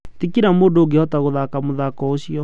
Ti kĩra mũndũ ũngĩhota gũthaka mũthako ũcio.